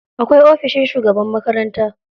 Akwai ofishin shugaban makaranta.